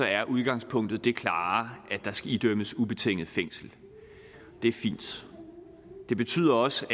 er udgangspunktet det klare at der skal idømmes ubetinget fængsel det er fint det betyder også